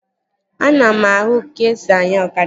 Ana m anụ ka-esi anya ọkada